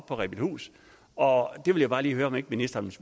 på rebildhus og det vil jeg bare lige høre om ikke ministeren